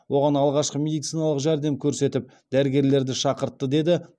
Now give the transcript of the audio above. оған алғашқы медициналық жәрдем көрсетіп дәрігерлерді шақыртты деді